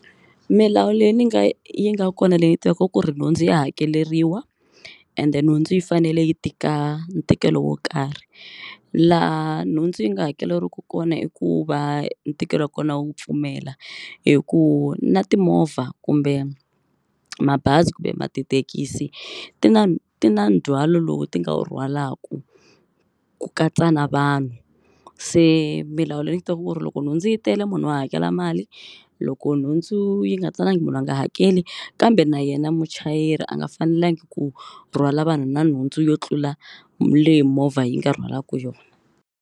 Milawu leyi ni nga yi nga kona leyi ni yi tivaku i ku ri nhundzu ya hakeleriwa ende nhundzu yi fanele yi tika ntikelo wo karhi laha nhundzu yi nga hakeriwiku kona i ku va ntikelo wa kona wu pfumela hi ku na timovha kumbe mabazi kumbe tithekisi ti na ti na ndzhwalo lowu ti nga wu rhwalaku ku katsa na vanhu se milawu leyi ni yi tivaku i ku ri loko nhundzu yi tele munhu wa hakela mali loko nhundzu yi nga talangi munhu a nga hakeli kambe na yena muchayeri a nga fanelangi ku rhwala vanhu na nhundzu yo tlula leyi movha yi nga rhwalaku yona.